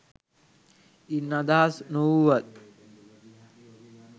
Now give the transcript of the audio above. ඉන් අදහස් නොවුවත්